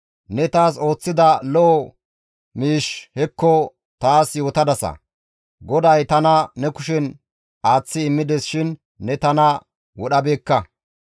Ne taas ooththida lo7o miishshi hekko taas yootadasa; GODAY tana ne kushen aaththi immides shin ne tana wodhabeekka.